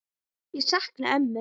Ég sakna ömmu.